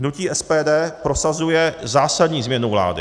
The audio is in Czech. Hnutí SPD prosazuje zásadní změnu vlády.